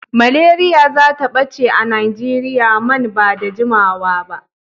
Malaria zata ɓace a Najeriya man ba da jimawa ba.